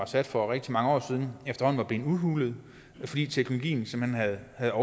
sat for rigtig mange år siden efterhånden var blevet udhulet fordi teknologien simpelt hen havde